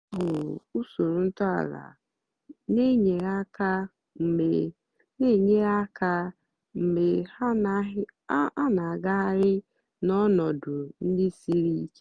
há hụ̀rụ̀ úsórò ntọ́ álà nà-ènyérè áká mgbe nà-ènyérè áká mgbe há nà-àgàghàrị́ n'ọnọ̀dụ́ ndí sírí íké.